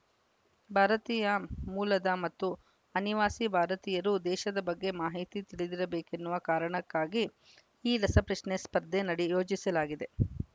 ಭಾರತೀಯ ಮೂಲದ ಮತ್ತು ಅನಿವಾಸಿ ಭಾರತೀಯರು ದೇಶದ ಬಗ್ಗೆ ಮಾಹಿತಿ ತಿಳಿದಿರಬೇಕೆನ್ನುವ ಕಾರಣಕ್ಕಾಗಿ ಈ ರಸಪ್ರಶ್ನೆ ಸ್ಪರ್ಧೆ ನಡೆ ಯೋಜಿಸಲಾಗಿದೆ